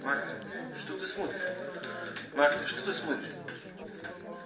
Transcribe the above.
марта что ты смотришь марта что ты смотришь